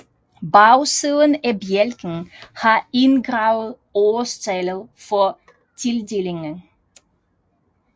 Bagsiden af bjælken har indgraveret årstallet for tildelingen